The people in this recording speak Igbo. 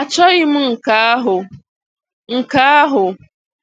achọghị m nke ahụ. nke ahụ.